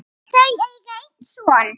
Þau eiga einn son.